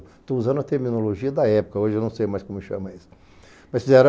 Estou usando a terminologia da época, hoje eu não sei mais como chama isso. Mas fizeram